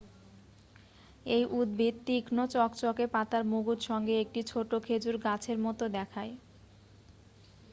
এই উদ্ভিদ তীক্ষ্ণ চকচকে পাতার মুকুট সঙ্গে একটি ছোট খেজুর গাছের মত দেখায়